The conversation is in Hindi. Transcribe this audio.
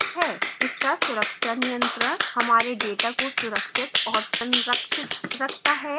इसका सुरक्षा नियंत्रण हमारे data को सुरक्षित और संरक्षित रखता है